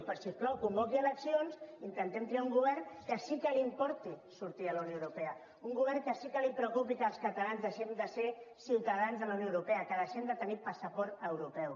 doncs si us plau convoqui eleccions intentem triar un govern que sí que li importi sortir de la unió europea un govern que sí que el preocupi que els catalans deixem de ser ciutadans de la unió europea que deixem de tenir passaport europeu